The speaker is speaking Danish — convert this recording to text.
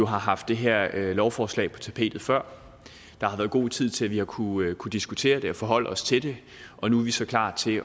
har haft det her lovforslag på tapetet før der har været god tid til at vi har kunnet diskutere det og forholde os til det og nu er vi så klar til